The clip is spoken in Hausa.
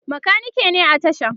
makaniki ne a tashan